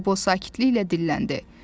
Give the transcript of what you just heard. Qobo sakitliklə dilləndi.